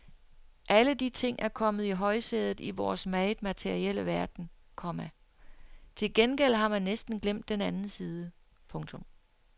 Alle de ting er kommet i højsædet i vores meget materielle verden, komma til gengæld har man næsten glemt den anden side. punktum